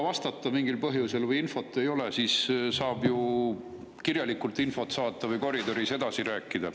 Tõesti, kui mingil põhjusel ei jõua vastata või infot ei ole, siis saab ju kirjalikult infot saata või koridoris edasi rääkida.